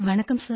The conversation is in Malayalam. വണക്കം സർ